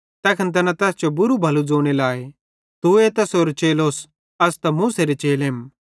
तैखन तैना तैस बुरू भलू ज़ोने लाए तूए तैसेरो चेलोस अस त मूसेरे चेलेम